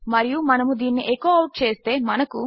మరియు మనము దీనిని ఎకో అవుట్ చేస్తే మనకు